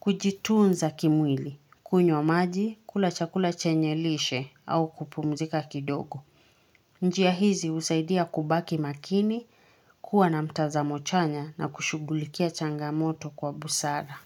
Kujitunza kimwili, kunyo maji, kulachakula chenye lishe au kupumzika kidogo Njiya hizi usaidia kubaki makini, kuwa na mtaza mochanya na kushugulikia changamoto kwa busada.